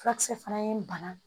Fulakisɛ fana ye bana